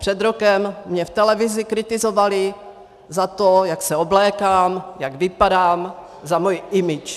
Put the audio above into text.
Před rokem mě v televizi kritizovali za to, jak se oblékám, jak vypadám, za moji image.